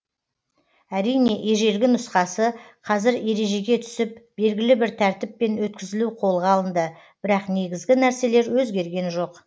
әрине ежелгі нұсқасы қазір ережеге түсіп белгілі бір тәртіппен өтізілу қолға алынды бірақ негізгі нәрселер өзгерген жоқ